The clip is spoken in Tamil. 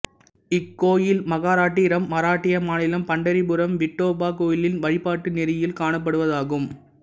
இக்கோயில் மகாராட்டிரம்மராட்டிய மாநிலம் பண்டரிபுரம் விட்டோபா கோயிலின் வழிபாட்டு நெறியில் காணப்படுவதாகும்